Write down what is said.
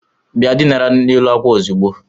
Bịa dinara n'elu n'àkwà ozugbo!